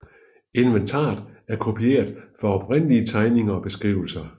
Inventaret er kopieret efter oprindelige tegninger og beskrivelser